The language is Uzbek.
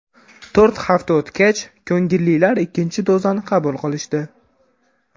To‘rt hafta o‘tgach, ko‘ngillilar ikkinchi dozani qabul qilishdi.